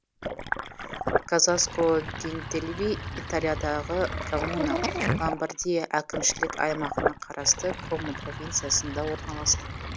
казаско д интельви италиядағы коммуна ломбардия әкімшілік аймағына қарасты комо провинциясында орналасқан